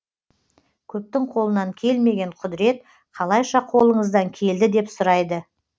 көптің қолынан келмеген құдірет қалайша қолыңыздан келді деп сұрайды